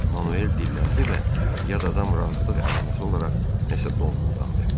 Manuel dilləndi və yad adam razılıq əlaməti olaraq nəsə donquldandı.